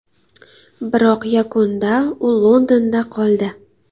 Biroq yakunda u Londonda qoldi.